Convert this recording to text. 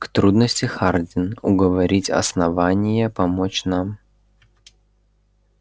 к трудности хардин уговорить основание помочь нам